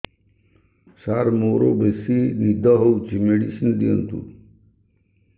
ସାର ମୋରୋ ବେସି ନିଦ ହଉଚି ମେଡିସିନ ଦିଅନ୍ତୁ